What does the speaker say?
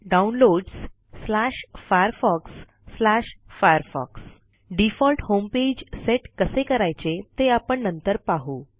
Downloadsfirefoxfirefox default homepage set कसे करायचे ते आपण नंतर पाहू